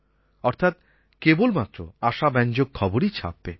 অর্থাৎ কেবলমাত্র আশাব্যঞ্জক খবরই ছাপবে